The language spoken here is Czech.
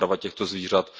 přeprava těchto zvířat.